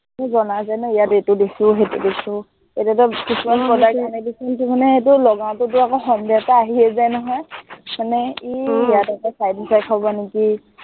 এৰ বনাই কিনে ইয়াত এইটো দিছো, সেইটো দিছো এইকেইটা বস্তু আমি সদায় দিছো, লগাওটে আকৌ সন্দেহ এটা আহিয়েই যায় নহয়, মানে এৰ ইয়াত আকৌ side effect হব নেকি?